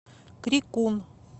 крикун